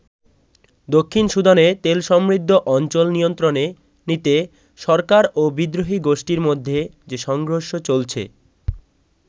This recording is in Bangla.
দক্ষিণ সুদানে তেলসমৃদ্ধ অঞ্চল নিয়ন্ত্রণে নিতে সরকার ও বিদ্রোহী গোষ্ঠীর মধ্যে যে সংঘর্ষ চলছে।